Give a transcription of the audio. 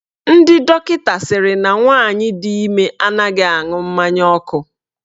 Ndị dọkịta sịrị na nwaanyị di ime anaghị aṅụ mmanya ọkụ.